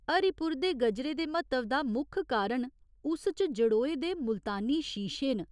हरिपुर दे गजरे दे म्हत्तव दा मुक्ख कारण उस च जड़ोए दे मुल्तानी शीशे न।